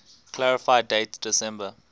clarify date december